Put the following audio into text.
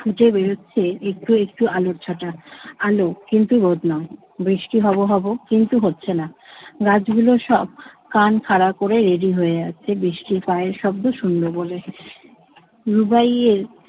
ফুটে বেরুচ্ছে একটু একটু আলোর ছটা। আলো কিন্তু রোদ নয়। বৃষ্টি হব হব, কিন্তু হচ্ছে না। গাছগুলো সব কান খাড়া করে ready হয়ে আছে বৃষ্টির পায়ের শব্দ শুনবে বলে। রুবাইয়ের